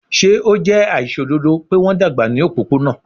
Ṣe o jẹ aiṣododo pe wọn dagba ni opopona?